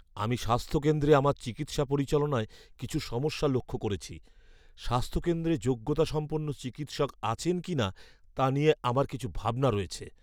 আমি স্বাস্থ্য কেন্দ্রে আমার চিকিৎসা পরিচালনায় কিছু সমস্যা লক্ষ্য করেছি। স্বাস্থ্যকেন্দ্রে যোগ্যতাসম্পন্ন চিকিৎসক আছেন কি না, তা নিয়ে আমার কিছু ভাবনা রয়েছে।